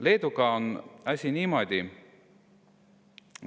Leeduga on asi niimoodi …